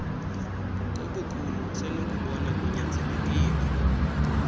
ngokobukhulu usenokubona kunyanzelekile